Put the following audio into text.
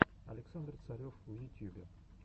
александр царев в ютьюбе